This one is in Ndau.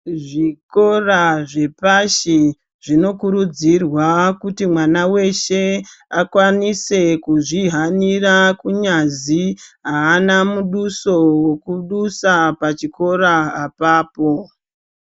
Zvikora zveoashi zvinokurudzirwa kuti mwana weshe akwanise kuhanira kunyazi haana muduso wekudusa pachikora apapo.